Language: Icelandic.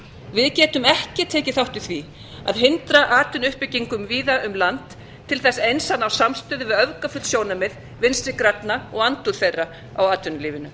við getum ekki tekið þátt í því að hindra atvinnuuppbyggingu víða um land til þess eins að ná samstöðu við öfgafull sjónarmið vinstri grænna og andúð þeirra á atvinnulífinu